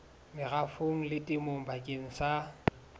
merafong le temong bakeng sa